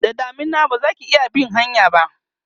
da damina bazaki iya bin hanyan ba